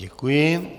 Děkuji.